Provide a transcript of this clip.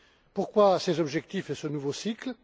Pourquoi ces objectifs et ce nouveau cycle?